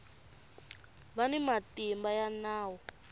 va ni matimba ya nawu